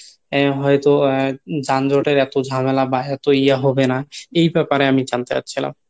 এ হয়তো আহ যানজটের এতো ঝামেলা বা এতো ইয়া হবে না এই ব্যাপার এ আমি জানতে চাচ্ছিলাম